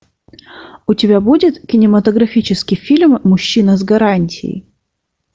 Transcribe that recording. у тебя будет кинематографический фильм мужчина с гарантией